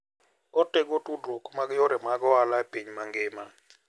Otego tudruok mag yore mag ohala e piny mangima.